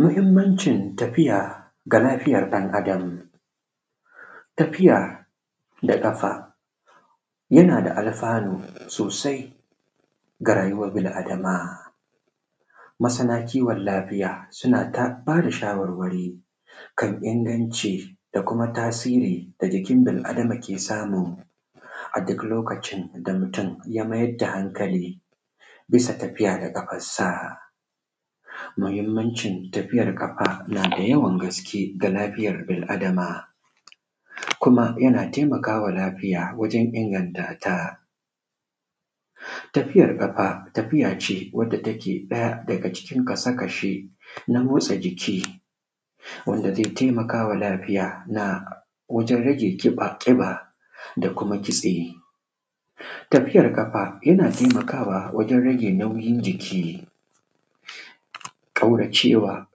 Mahimmancin tafiya ga lafiyan ɗan Adam. Tafiya ga ƙafa yanada alfanu sosai ga rayuwan bil adama. Masana kiwon lafiya sonata bada shawarwari kan inganci da kuma tasiri da jikin bil adama ke samu, a duk lokacin da mutun ya maida hankali bisa tafiya da ƙafarsa. Mahimmnacin tafiyan ƙafa nada yawan gaske ga rayuwan bil adama, kuma yana taimakawa lafiya wajen inganta ta. Tafiyar ƙafa tafiyace wanda take ɗaya daga cikin kasa kasha na motsa jiki wanda zai taimakama lafiya wajen rage ƙiba da kuma kitse. Tafiyar ƙafa yana taimakawa wajen nauyin jiki, kauracewa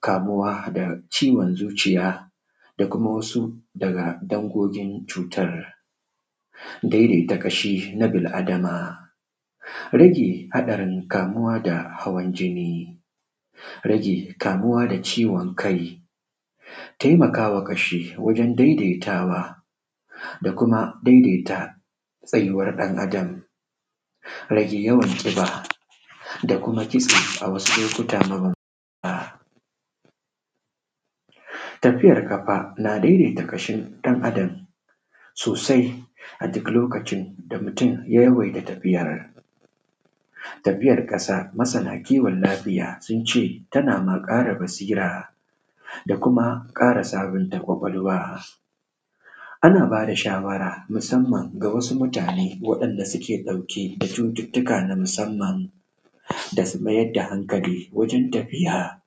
kamuwa da ciwon zuciya da kuma wasu daga dangogin cutar. Daidaita ƙashi na bil Adam rage haɗarin kamuwa da hawan jini rage kamuwa da ciwon kai taimakama ƙashi, wajen daidai tawa da kuma daidaita tsayuwan ɗan adam. rage yawan zufa da kuma kitse a wasu lokuta mabanbanta. Tafiyar ƙafa na daidaita ƙashin ɗan Adam sosai a duk lokacin da mutun ya yawaita tafiyar. Tafiyar ƙasa masana kiwon lafiya sunce tana ƙara basira basira da kuma ƙama sabunta kwakwalwa, ana bada shawara musamman ga wasu mutane wa ‘yan’ da suke ɗauke da cututtuka na musamman. Dasu mayar da hankali wajen tafiya,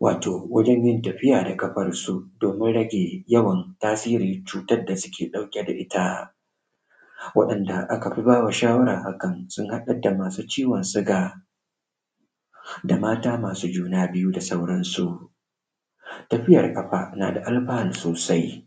wato wajenyin tafiya da ƙafan su domin rage yawan tasirin cutan da suke ɗauke da itta. Taɗan da akan bawa shawaran haka sun haɗa da masu ciwon suga da mata masu juna biyu da sauran su. Tafiyan ƙafa nada alfanu sosai.